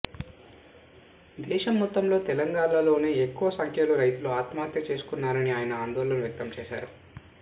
దేశం మొత్తంలో తెలంగాణలోనే ఎక్కువ సంఖ్యలో రైతులు ఆత్మహత్య చేసుకున్నారని ఆయన ఆందోళన వ్యక్తం చేశారు